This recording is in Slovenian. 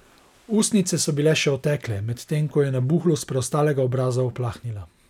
Ustnice so bile še otekle, medtem ko je nabuhlost preostalega obraza uplahnila.